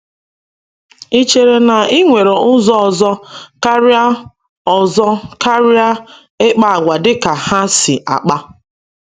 Ị chere na ị nwere ụzọ ọzọ karịa ọzọ karịa ịkpa àgwà dịka ha si akpa?